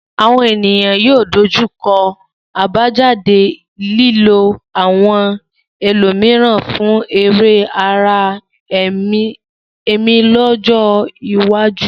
Àwọn ènìyàn yóò dojú kọ àbájáde lílo àwọn ẹlòmíràn fún èrè ara ẹni lọ́jọ́ iwájú.